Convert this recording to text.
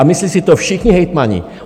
A myslí si to všichni hejtmani.